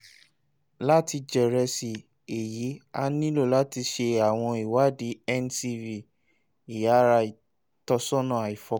lati jẹrisi eyi a nilo lati ṣe awọn iwadi ncv (iyara itọsọna aifọkanbalẹ)